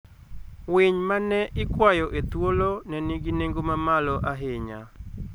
Winy ma ne ikwayo e thuolo ne nigi nengo mamalo ahinya.